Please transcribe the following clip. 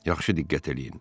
Yaxşı diqqət eləyin.